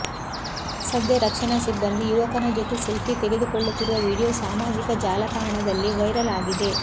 ಸದ್ಯ ರಕ್ಷಣಾ ಸಿಬ್ಬಂದಿ ಯುವಕನ ಜೊತೆ ಸೆಲ್ಫೀ ತೆಗೆದುಕೊಳ್ಳುತ್ತಿರುವ ವಿಡಿಯೋ ಸಾಮಾಜಿಕ ಜಾಲತಾಣದಲ್ಲಿ ವೈರಲ್ ಆಗಿದೆ